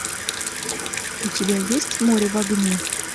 у тебя есть море в огне